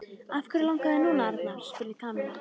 Af hverju langar þig núna, Arnar? spurði Kamilla.